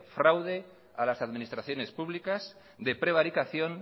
fraude a las administraciones públicas de prevaricación